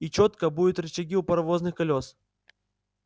и чётко будто рычаги у паровозных колёс